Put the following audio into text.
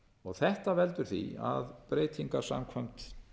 þetta veldur því að breytingar samkvæmt